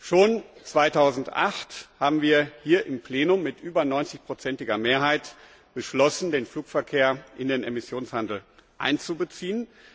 Schon 2008 haben wir hier im Plenum mit über 90iger Mehrheit beschlossen, den Flugverkehr in den Emissionshandel einzubeziehen.